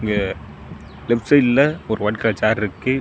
இங்க லெப்ட் சைடுல ஒரு ஒய்ட் கலர் சேர் இருக்கு.